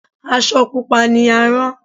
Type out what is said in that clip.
Asọ Pupa ni a rán.